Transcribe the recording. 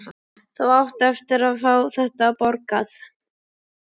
Þú átt eftir að fá þetta borgað!